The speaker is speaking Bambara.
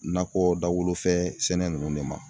Nakɔ dawolo fɛ sɛnɛ ninnu de ma